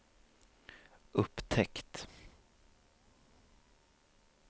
upptäckt